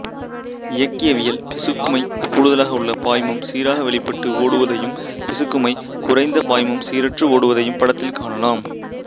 இயக்கியவியல் பிசுக்குமை கூடுதலாக உள்ள பாய்மம் சீராக வெளிப்பட்டு ஓடுவதையும் பிசுக்குமை குறைந்த பாய்மம் சீரற்று ஓடுவதையும் படத்தில் காணலாம்